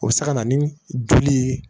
O bɛ se ka na ni joli ye